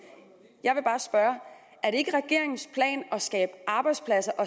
jeg vil bare spørge er det ikke regeringens plan at skabe arbejdspladser og